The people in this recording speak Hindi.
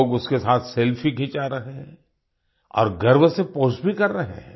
लोग उसके साथ सेल्फी खिंचा रहे हैं और गर्व से पोस्ट भी कर रहे हैं